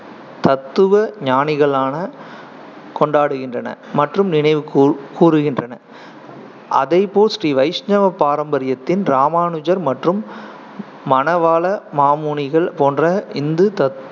தத்துவஞானிகளான கொண்டாடுகின்றன மற்றும் நினைவுகூ~ கூருகின்றன அதை போல் ஸ்ரீ வைஷ்ணவ பாரம்பரியத்தின் ராமானுஜர் மற்றும் மணவாள மாமுனிகள் போன்ற இந்து தத்~